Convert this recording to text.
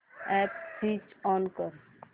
app switch on कर